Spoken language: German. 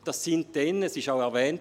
Es wurde erwähnt: